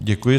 Děkuji.